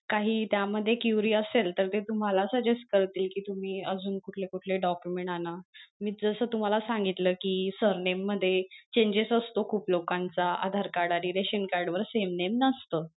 काही त्या मध्ये query तर ते तुम्हाला suggest करतील कि तुम्ही अजून कुठले कुठले document आणा मी जस तुम्हाला सांगितलं कि surname मध्ये changes असतो खूप लोकांचा आधार card आणि रेशन card वर same name नसत.